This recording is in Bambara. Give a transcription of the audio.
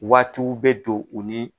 Waatiw bɛ don u ni.